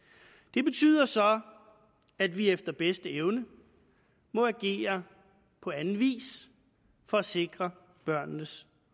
det betyder så at vi efter bedste evne må agere på anden vis for at sikre børnenes